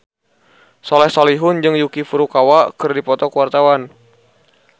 Soleh Solihun jeung Yuki Furukawa keur dipoto ku wartawan